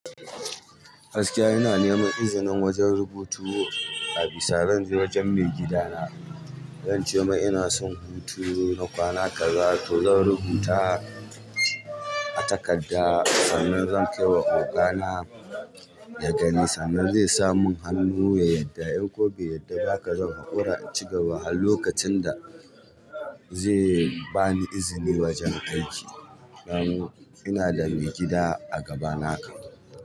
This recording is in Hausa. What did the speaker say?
Gaskiya ina neman izinin wajen rubutu, a bisa zan je wajen maigida na zan ce mai ina son hutu na kwana kaza toh zan rubuta a takarda sannan zan kai wa ogana ya gani sannan zai sa mun hannu ya yadda in ko bai yadda baka zan haƙura in cigaba har lokacin da zai bani izini wajen aiki dan ina da maigida a gaba naka.